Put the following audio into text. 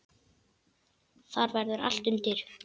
Þar verður allt undir.